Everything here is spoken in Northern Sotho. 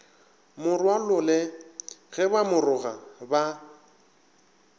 morwalole ge ba moroga ba